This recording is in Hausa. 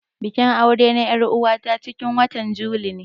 Bikin aure na er'uwa ta cikin watan juli ne.